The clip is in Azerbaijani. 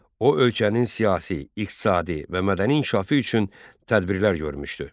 O ölkənin siyasi, iqtisadi və mədəni inkişafı üçün tədbirlər görmüşdü.